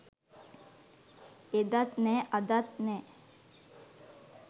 එදත් නෑ අදත් නෑ